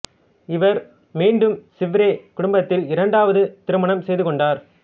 இவர் மீண்டும் சிவ்ரே குடும்பத்தில் இரண்டாவது திருமணம் செய்து கொண்டார்